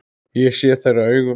Ég sé þeirra augum.